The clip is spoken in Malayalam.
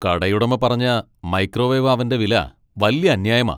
കടയുടമ പറഞ്ഞ മൈക്രോവേവ് അവന്റെ വില വല്യ അന്യായമാ.